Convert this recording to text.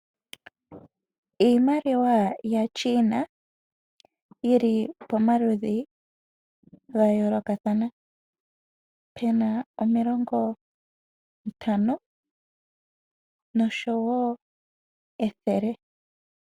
Iimaliwa yaChina yili pomaludhi ga yoolokathana pu na omilongontano nosho wo ethele.